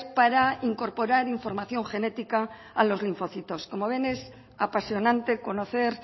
para incorporar información genética a los linfocitos como ven es apasionante conocer